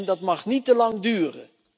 Dat mag niet te lang duren.